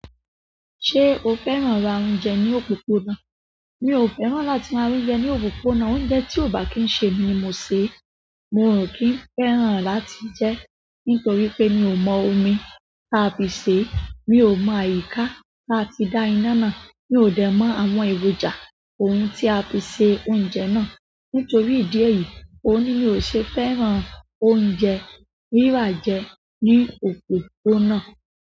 Ṣé o fẹ́ràn ra oúnjẹ ní òpópónà? Mi ò fẹ́ràn láti ra oúnjẹ ní òpópónà. Oúnjẹ tí ò bá kí n ṣe èmi ni mo sè é, mi ò kí n fẹ́ràn láti jẹ ẹ́ nítorí pé mi ò mọ omi táa fi sè é, mi ò mọ àyíká táa ti dá iná náà, mi ò dẹ̀ mọ àwọn èròjà ohun tí a fi ṣe oúnjẹ náà. Nítorí ìdí èyí, òun ni mi ò ṣe fẹ́ràn oúnjẹ rírà jẹ ní òpópónà.